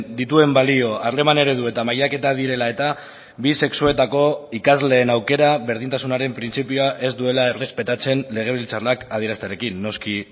dituen balio harreman eredu eta mailaketa direla eta bi sexuetako ikasleen aukera berdintasunaren printzipioa ez duela errespetatzen legebiltzarrak adieraztearekin noski